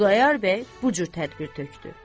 Xudayar bəy bu cür tədbir tökdü.